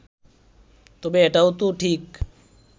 তবে এটাও তো ঠিক